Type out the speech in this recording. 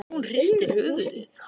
Hún hristir höfuðið.